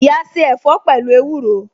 Iya se ẹ̀fọ́ pẹ̀lú ewúro